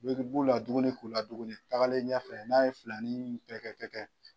i b'u laduguni k'u laduguni tagalen ɲɛfɛ n'a ye filanin kɛ kɛ kɛ kɛ.